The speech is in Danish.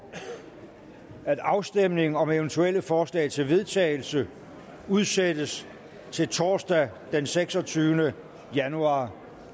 at afstemning om eventuelle forslag til vedtagelse udsættes til torsdag den seksogtyvende januar